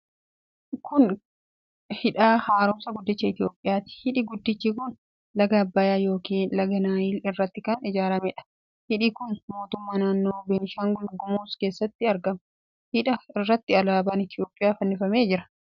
Kun hidha haaromsaa guddicha Itiyoophiyaati. Hidhi guddichi kun laga Abbayaa yookiin laga Naayil irratti kan ijaarameedha. Hidhi kun mootummaa naannoo Beenishaangul Gumuz keessatti argama. Hidha irratti alaabaan Itiyoophiyaa fannifamee jira.